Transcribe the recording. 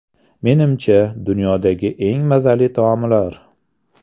Menimcha, dunyodagi eng mazali taomlar.